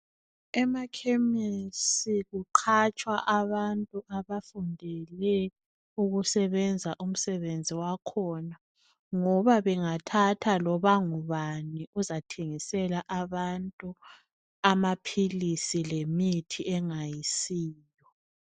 Emakhemisi kuqhatshwa abantu abafundele ukusebenza umsebenzi wakhona. Ngoba bengathatha loba ngubani, uzathengisela abantu amaphilisi lemithi engayisiyo.